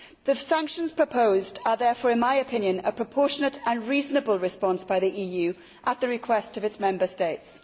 The sanctions proposed are therefore, in my opinion, a proportionate and reasonable response by the EU at the request of its Member States.